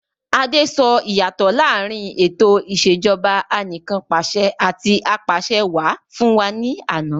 Adé sọ ìyàtọ̀ láàrín ètò ìsèjọba anìkanpàṣẹ àti apàṣẹwà fún wa ní àná.